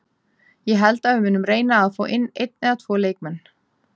Ég held að við munum reyna fá inn einn eða tvo leikmenn.